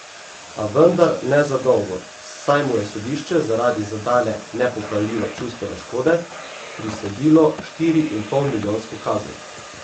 A vendar ne za dolgo, saj mu je sodišče zaradi zadane nepopravljive čustvene škode prisodilo štiriinpolmilijonsko kazen.